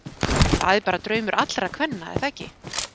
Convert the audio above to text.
Það er bara draumur allra kvenna er það ekki?